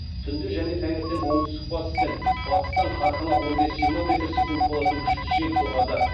түнде және таңертең оңтүстік батыс пен батыстан қарқыны он бес жиырма метр секунд болатын күшті жел соғады